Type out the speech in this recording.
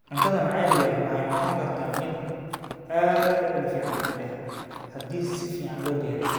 Cuntada maxaliga ahi waxay noqon kartaa mid aad u dhadhan fiican leh haddii si fiican loo diyaariyo.